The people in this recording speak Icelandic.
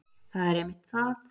það er einmitt það